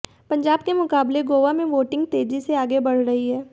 पंजाब के मुकाबले गोवा में वोटिंग तेजी से आगे बढ़ रही है